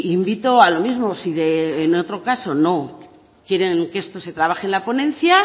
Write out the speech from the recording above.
invito a lo mismo si en otro caso no quieren que esto se trabaje en la ponencia